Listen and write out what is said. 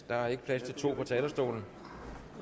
der er ikke plads til to på talerstolen